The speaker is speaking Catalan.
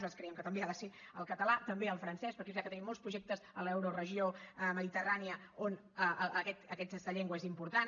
nosaltres creiem que també ha de ser el català també el francès perquè és veritat que tenim molts projectes a l’euroregió mediterrània on aquesta llengua és important